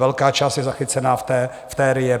Velká část je zachycena v té RIA.